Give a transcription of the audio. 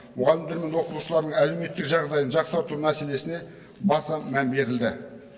мұғалімдер мен оқушылардың әлеуметтік жағдайын жақсарту мәселесіне баса мән берілді